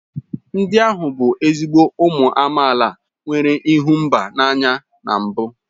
Ndị ahụ bụ ezigbo ụmụ amaala nwere ịhụ mba n'anya na mbụ